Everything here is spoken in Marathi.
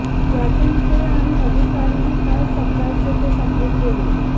यातून ते आणि अधिकारीही काय समजायचे ते समजून गेले